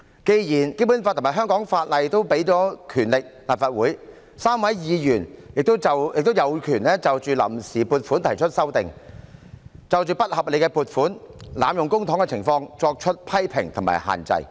既然《基本法》和香港法例均賦予立法會權力 ，3 位議員便有權就臨時撥款決議案提出修訂議案，就不合理的撥款及濫用公帑的情況作出批評和限制。